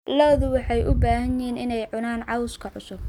Lo'du waxay jecel yihiin inay cunaan cawska cusub.